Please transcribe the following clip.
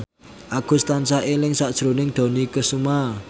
Agus tansah eling sakjroning Dony Kesuma